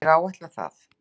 Ég áætla það.